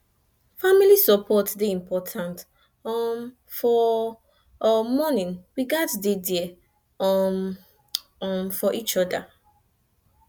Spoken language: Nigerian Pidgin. family support dey important um for um mourning we gats dey there um um for each oda